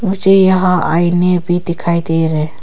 मुझे यहां आईने भी दिखाई दे रहे हैं।